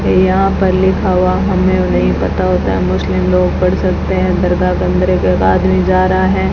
ये यहां पर लिखा हुआ हमें नहीं पता होता है मुस्लिम लोग पढ़ सकते हैं दरगाह अंदर एक आदमी जा रहा है।